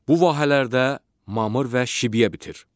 Bu vahələrdə mamır və şibyə bitir.